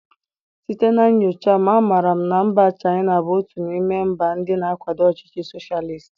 Site na nyocha m, amaara m na mba Chaịna bụ otu n'ime mba ndị na-akwado ọchịchị soshalist